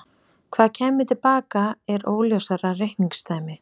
Hvað kæmi til baka er óljósara reikningsdæmi.